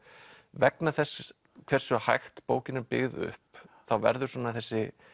vegna þess hversu hægt bókin er byggð upp þá verður svona þessi